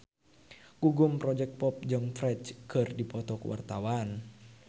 Gugum Project Pop jeung Ferdge keur dipoto ku wartawan